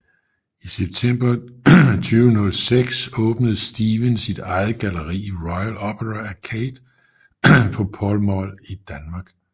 I september 2006 åbnede Stephen sit eget galleri i Royal Opera Arcade på Pall Mall i London